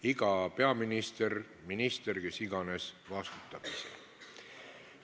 Iga peaminister, minister või kes iganes vastutab selle eest ise.